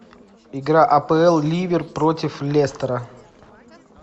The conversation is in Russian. игра апл ливер против лестера